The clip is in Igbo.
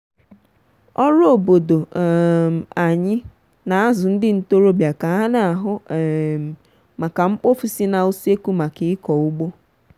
ọrụ obodo um anyị n'azụ ndị ntorobịa ka ha n'ahụ um maka mkpofu si na useku maka ịkọ ugbo.